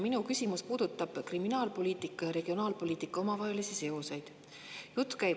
Minu küsimus puudutab kriminaalpoliitika ja regionaalpoliitika omavahelisi seoseid.